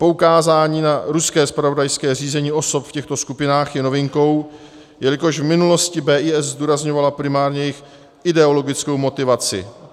Poukázání na ruské zpravodajské řízení osob v těchto skupinách je novinkou, jelikož v minulosti BIS zdůrazňovala primárně jejich ideologickou motivaci.